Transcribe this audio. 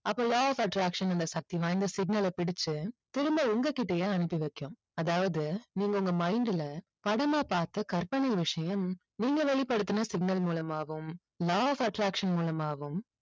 அப்போ law of attraction அந்த சக்தி வாய்ந்த signal அ பிடிச்சு திரும்ப உங்ககிட்டயே அனுப்பி வைக்கும். அதாவது நீங்க உங்க mind ல படமா பார்த்த கற்பனை விஷயம் நீங்க வெளிப்படுத்தின signal மூலமாகவும் law of attraction மூலமாகவும்